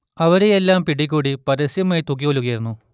അവരെയെല്ലാം പിടികൂടി പരസ്യമായി തൂക്കിക്കൊല്ലുകയായിരുന്നു